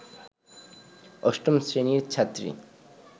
৮ম শ্রেণীর ছাত্রী